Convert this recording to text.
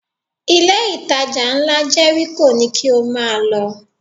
Ilé-ìtajà ńlá Jẹ́ríkò ni kí o máa lọ